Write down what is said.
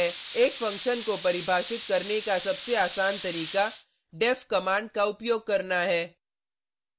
एक फंक्शन को परिभाषित करने का सबसे आसान तरीका `deff कमांड का उपयोग करना है